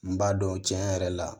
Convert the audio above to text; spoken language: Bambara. N b'a dɔn cɛn yɛrɛ la